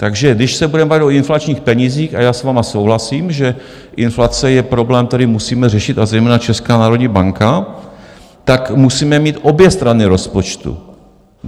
Takže když se budeme bavit o inflačních penězích, a já s vámi souhlasím, že inflace je problém, který musíme řešit a zejména Česká národní banka, tak musíme mít obě strany rozpočtu.